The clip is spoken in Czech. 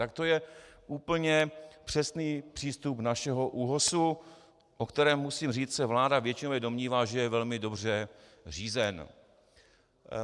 Tak to je úplně přesný přístup našeho ÚOHS, o kterém musím říci, se vláda většinově domnívá, že je velmi dobře řízen.